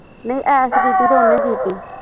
ਨਹੀਂ ਐਸ਼ ਕੀਤੀ ਤੇ ਉਹਨੇ ਕੀਤੀ